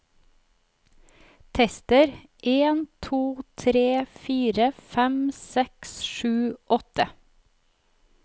Tester en to tre fire fem seks sju åtte